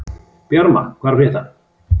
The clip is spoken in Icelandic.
Bjarma, hvað er að frétta?